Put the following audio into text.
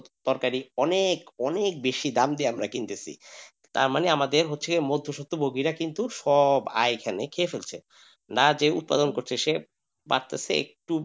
তরকারি অনেক অনেক বেশি নাম দিয়ে আমরা কিনতেসি তার মানে আমাদের হচ্ছে মধ্যেসত্য ভোগীরা হচ্ছে সব আয় এখানে খেয়ে ফেলছে না জেনে উৎপাদন করছে সে বাড়তাছে একটু,